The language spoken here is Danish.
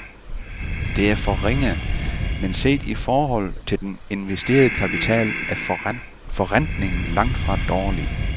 Det er for ringe, men set i forhold til den investerede kapital er forrentningen langtfra dårlig.